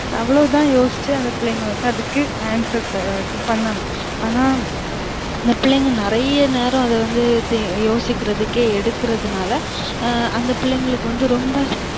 அவ்வளவு தான் யோசிச்சு அந்த பிள்ளைங்க வந்து அதுக்கு answer பண்ணனும் ஆனா அந்த பிள்ளைங்க நிறைய நேரம் அத வந்து யோசிக்குரதுக்கே எடுக்குறது நால அந்த பிள்ளைங்களுக்கு வந்து ரொம்ப